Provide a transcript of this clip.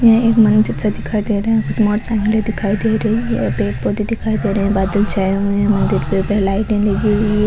ये एक मंदिर सा दिखाई दे रहा है कुछ मोटर साईकल दिखाई दे रही है पेड़ पौधे दिखाई दे रहे है बादल छाए हुए है मंदिर पे लाइटे लगी हुई है।